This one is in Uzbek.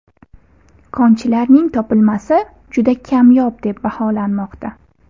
Konchilarning topilmasi juda kamyob deb baholanmoqda.